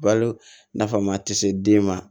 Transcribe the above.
Balo nafa ma tɛ se den ma